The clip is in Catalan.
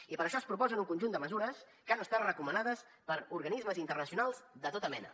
i per això es proposen un conjunt de mesures que han estat recomanades per organismes internacionals de tota mena